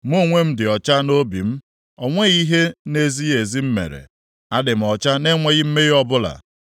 ‘Mụ onwe m dị ọcha nʼobi m, o nweghị ihe na-ezighị ezi m mere; adị m ọcha na-enweghị mmehie ọbụla.